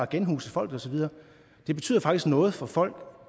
genhuse folk og så videre det betyder faktisk noget for folk